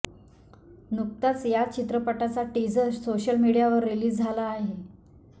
नुकताच या चित्रपटाचा टीझर सोशल मीडियावर रिलीज झाला आहे